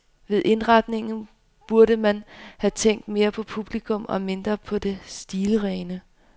Ved indretningen burde man have tænkt mere på publikum og mindre på det stilrene.